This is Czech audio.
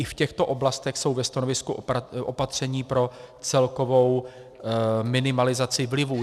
I v těchto oblastech jsou ve stanovisku opatření pro celkovou minimalizaci vlivů.